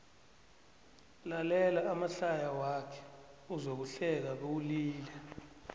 lalela amahlaya wakhe uzokuhleka bewulile